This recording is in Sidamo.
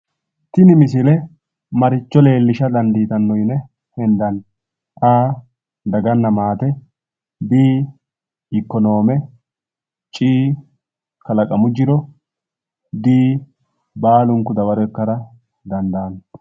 Tini misile maricho leellisha dandiittano yinne hendani? A,Daganna maate B,Ikonome C,Kalaqamu jiro D,Baalunku dawaro ikkara dandaanno.